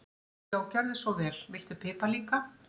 Já, gjörðu svo vel. Viltu pipar líka?